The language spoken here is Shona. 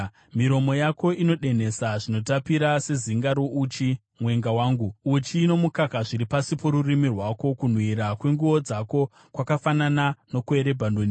Miromo yako inodonhesa zvinotapira sezinga rouchi, mwenga wangu; uchi nomukaka zviri pasi porurimi rwako. Kunhuhwira kwenguo dzako kwakafanana nokweRebhanoni.